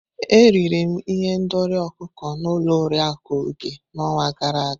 Eriri m ihendori ọkụkọ n'ụlọ Oriakụ Oge n'ọnwa gara aga.